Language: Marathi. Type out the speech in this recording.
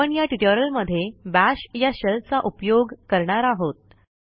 आपण या ट्युटोरियलमध्ये बाश या शेल चा उपयोग करणार आहोत